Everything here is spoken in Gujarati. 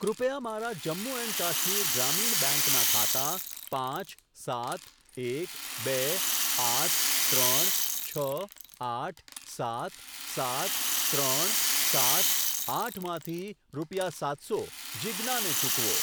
કૃપયા મારા જમ્મુ એન્ડ કાશ્મીર ગ્રામીણ બેંક ના ખાતા પાંચ સાત એક બે આઠ ત્રણ છ આઠ સાત સાત ત્રણ સાત આઠ માંથી રૂપિયા સાત સો જીજ્ઞા ને ચૂકવો.